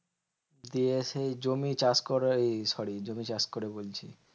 দিয়ে সেই জমি চাষ করা এই sorry জমি চাষ করে বলছি।